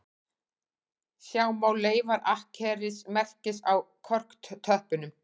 Sjá má leifar akkerismerkis á korktöppunum